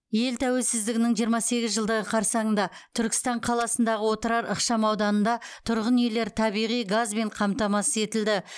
ел тәуелсіздігінің жиырма сегіз жылдығы қарсаңында түркістан қаласындағы отырар ықшамауданында тұрғын үйлер табиғи газбен қамтамасыз етілді